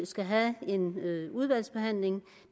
skal have en udvalgsbehandling